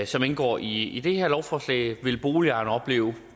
som indgår i i det her lovforslag vil boligejerne opleve